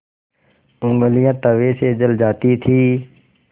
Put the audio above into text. ऊँगलियाँ तवे से जल जाती थीं